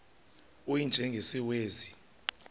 u y njengesiwezi